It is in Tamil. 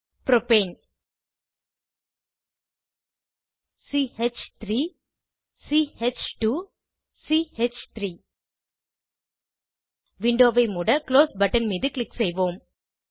புரோப்பேன் ch3 ch2 சி3 விண்டோவை மூட குளோஸ் பட்டன் மீது க்ளிக் செய்வோம்